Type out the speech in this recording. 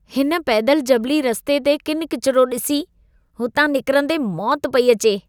हिन पैदल जबली रस्ते ते किनि किचिरो ॾिसी, हुतां निकिरंदे मौति पेई अचे।